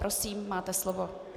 Prosím, máte slovo.